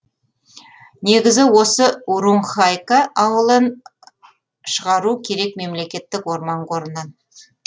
негізі осы урунхайка ауылын шығару керек мемлекеттік орман қорынан